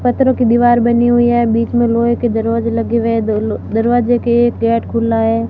पत्थरों की दीवार बनी हुई है बीच में लोहे के दरवाजे लगे हुए हैं दरवाजे के एक गेट खुला है।